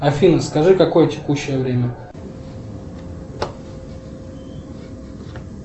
афина скажи какое текущее время